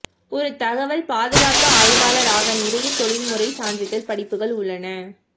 ஒரு தகவல் பாதுகாப்பு ஆய்வாளர் ஆக நிறைய தொழில்முறை சான்றிதழ் படிப்புகள் உள்ளன